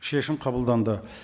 шешім қабылданды